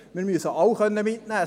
Wir müssen alle mitnehmen können.